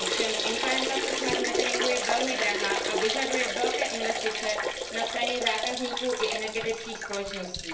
Ovšem implementace smart meteringu je velmi drahá a vyžaduje velké investice na straně zákazníků i energetických společností.